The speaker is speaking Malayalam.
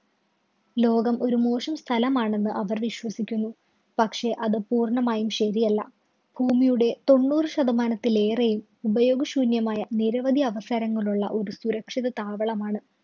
ലോകം ഒരു മോശം സ്ഥലമാണെന്ന് അവര്‍ വിശ്വസിക്കുന്നു. പക്ഷേ അത് പൂര്‍ണ്ണമായും ശരിയല്ല. ഭൂമിയുടെ തൊണ്ണൂറ് ശതമാനത്തിലേറെയും ഉപയോഗ ശൂന്യമായ നിരവധി അവസരങ്ങളുള്ള ഒരു സുരക്ഷിത താവളമാണ്.